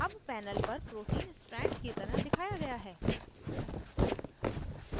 अब panel पर protein strands की तरह दिखाया गया है